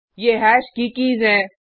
ये हैश की कीज़ हैं